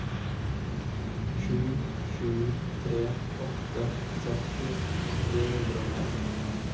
sju sju tre åtte sytti tre hundre og fem